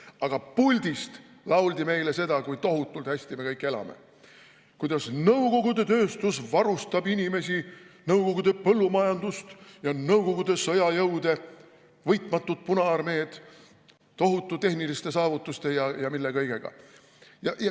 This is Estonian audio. Aga puldist lauldi meile, kui tohutult hästi me kõik elame, kuidas nõukogude tööstus varustab inimesi, nõukogude põllumajandust, nõukogude sõjajõude, võitmatut Punaarmeed tohutute tehniliste saavutuste ja mille kõigega.